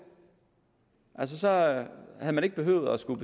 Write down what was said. altså havde man ikke behøvet at skulle